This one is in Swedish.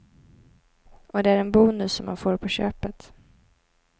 Och det är en bonus som man får på köpet.